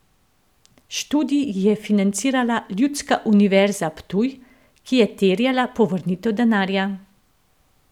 Študij ji je financirala Ljudska univerza Ptuj, ki je terjala povrnitev denarja.